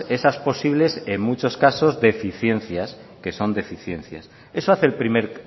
esas posibles en muchos casos deficiencias que son deficiencias eso hace el primer